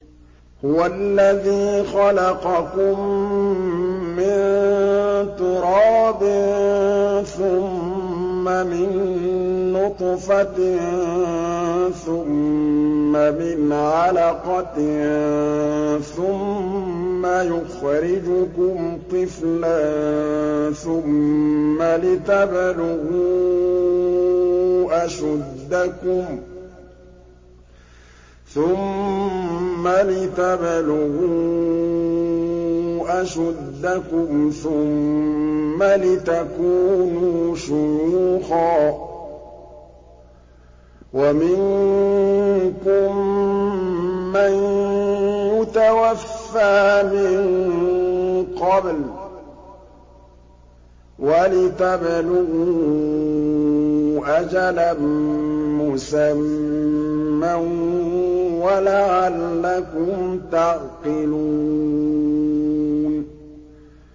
هُوَ الَّذِي خَلَقَكُم مِّن تُرَابٍ ثُمَّ مِن نُّطْفَةٍ ثُمَّ مِنْ عَلَقَةٍ ثُمَّ يُخْرِجُكُمْ طِفْلًا ثُمَّ لِتَبْلُغُوا أَشُدَّكُمْ ثُمَّ لِتَكُونُوا شُيُوخًا ۚ وَمِنكُم مَّن يُتَوَفَّىٰ مِن قَبْلُ ۖ وَلِتَبْلُغُوا أَجَلًا مُّسَمًّى وَلَعَلَّكُمْ تَعْقِلُونَ